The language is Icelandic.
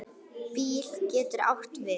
BÍL getur átt við